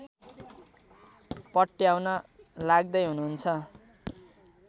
पट्याउन लाग्दै हुनुहुन्छ